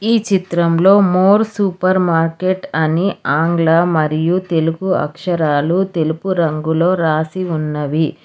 ఈ చిత్రంలో More super market అని ఆంగ్ల మరియు తెలుగు అక్షరాలు తెలుపు రంగులో రాసి ఉన్నవి.